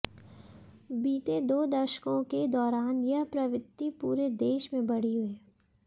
बीते दो दशकों के दौरान यह प्रवृत्ति पूरे देश में बढ़ी है